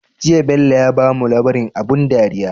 Jiya Bello ya bamu labrin abun dariya